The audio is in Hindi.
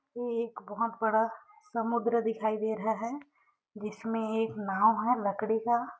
ये एक बहुत बड़ा समुन्द्र दिखाई दे रहा हैं जिसमे के नाव हैं लड़की का--